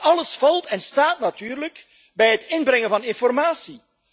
Maar alles staat en valt natuurlijk bij het inbrengen van informatie.